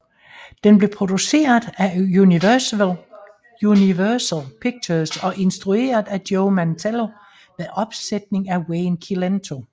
Den blev produceret af Universal Pictures og instrueret af Joe Mantello med opsætning af Wayne Cilento